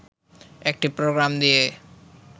একটি প্রোগাম দিয়ে